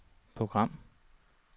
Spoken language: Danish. program